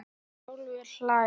Hrólfur hlær.